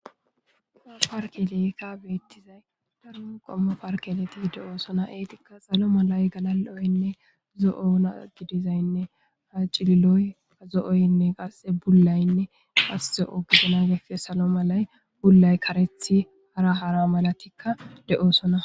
A parkeley ka beettizay darun qommo parkeleti de'oosona eetikka salo malay galaloynne zo'oona gidizaynne acililoy kazo'oynne qasxe bullaynne qasse o gidana gefe salo malay bullay karethi hara hara malatikka de'oosona.